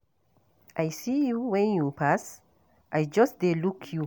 I see you wen you pass, I just dey look you.